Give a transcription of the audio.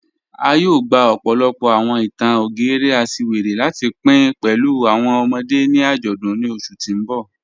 A yóò gbà ọ̀pọ̀lọ̀pọ̀ awọn ìtàn ògérè àṣìwéré láti pìn pẹ̀lú awọn ọ̀mọ̀dé̀ ni ajọdun ni oṣù tì n bọ́.